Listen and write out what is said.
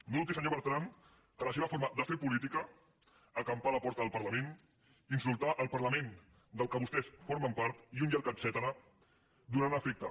no dubti senyor bertran que la seva forma de fer política acampar a la porta del parlament insultar el parlament del qual vostès formen part i un llarg etcètera farà efecte